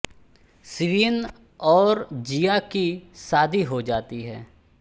शिवेन और जिया की शादी हो जाती है